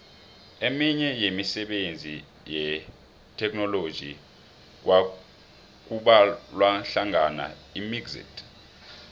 eminye yemisebenzi yetheknoloji kubalwahlangana imxit